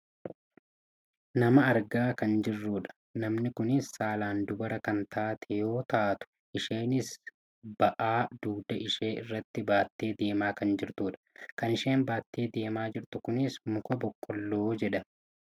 Nama argaa kan jirrudha. Namni kunis saalaan dubara kan taate yoo taatu isheenis bahaa dugda ishee irratti baattee deemaa kan jirtudha. Kan isheen baattee deemaa jirtu kunis muka boqqoolloo jedhama.